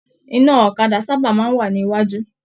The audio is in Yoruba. Iná ọ̀kàdà sábà máa n wà ní iwájú.